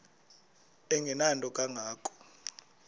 engenanto kanga ko